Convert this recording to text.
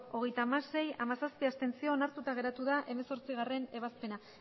hogeita hamasei ez hamazazpi abstentzio onartuta geratu da hemezortzigarrena ebazpena